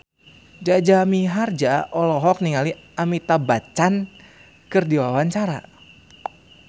Jaja Mihardja olohok ningali Amitabh Bachchan keur diwawancara